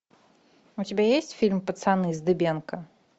у тебя есть фильм пацаны с дыбенко